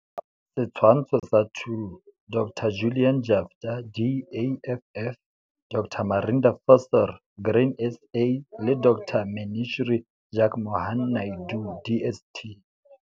Setshwantsho sa 2 - Dr Julian Jaftha, DAFF, Dr Marinda Visser, Grain SA, le Dr Maneshree Jugmohan-Naidu, DST.